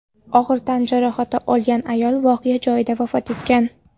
Og‘ir tan jarohati olgan ayol voqea joyida vafot etgan.